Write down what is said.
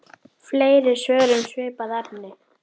Þinn sonur Baldur.